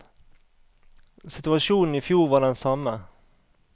Situasjonen i fjor var den samme.